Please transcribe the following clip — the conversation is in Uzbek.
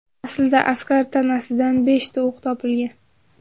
Aslida askar tanasidan beshta o‘q topilgan.